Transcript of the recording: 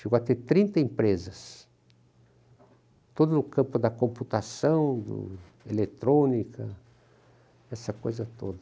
Chegou a ter trinta empresas, todo o campo da computação, eletrônica, essa coisa toda.